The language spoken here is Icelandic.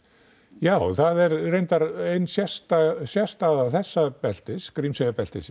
já það er reynar ein sérstæða sérstæða þessa beltis beltis